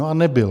No a nebyl.